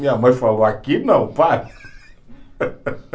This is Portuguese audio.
Minha mãe falou, aqui não, para.